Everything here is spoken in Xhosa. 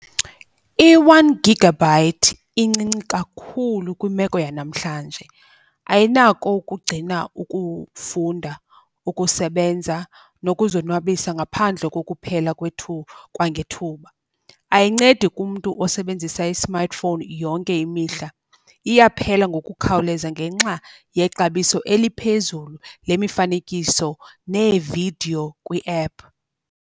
I-one gigabyte incinci kakhulu kwimeko yanamhlanje. Ayinako ukugcina ukufunda, ukusebenza nokuzonwabisa ngaphandle kokuphela kwangethuba. Ayincedi kumntu osebenzisa i-smartphone yonke imihla, iyaphela ngokukhawuleza ngenxa yexabiso eliphezulu lemifanekiso neevidiyo kwi-app.